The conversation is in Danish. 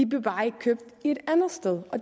bliver bare ikke købt et andet sted